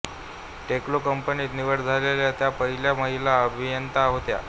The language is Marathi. टेल्को कंपनीत निवड झालेल्या त्या पहिल्या महिला अभियंत्या होत्या